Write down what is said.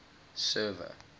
server